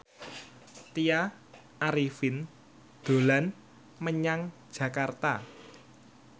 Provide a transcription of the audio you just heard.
Tya Arifin dolan menyang Jakarta